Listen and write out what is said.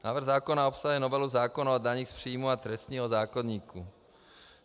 Návrh zákona obsahuje novelu zákona o daních z příjmů a trestního zákoníku.